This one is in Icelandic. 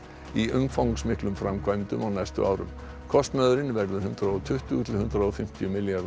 í umfangsmiklum framkvæmdum á næstu árum kostnaðurinn verður hundrað og tuttugu til hundrað og fimmtíu milljarðar